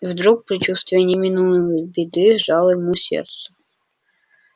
и вдруг предчувствие неминуемой беды сжало ему сердце